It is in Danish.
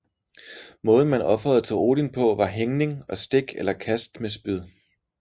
Måden man ofrede til Odin på var hængning og stik eller kast med spyd